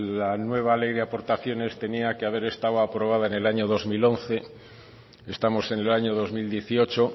la nueva ley de aportaciones tenía que haber estado aprobada en el año dos mil once estamos en el año dos mil dieciocho